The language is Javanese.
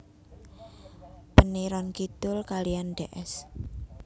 Peniron Kidul kaliyan Ds